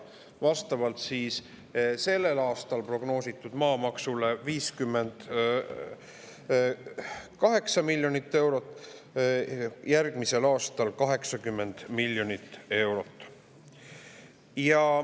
Sellel aastal prognoosi kohaselt maamaksu 58 miljonit eurot ja järgmisel aastal 80 miljonit eurot.